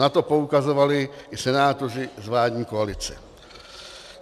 Na to poukazovali i senátoři z vládní koalice.